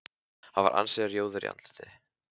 Hann var ansi rjóður í andliti.